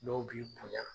Dɔw b'i kɔnya